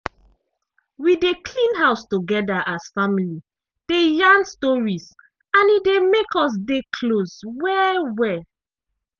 we dey clean house together as family dey yarn stories and e dey make us dey close well-well.